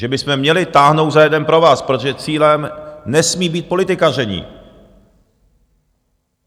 Že bychom měli táhnout za jeden provaz, protože cílem nesmí být politikaření.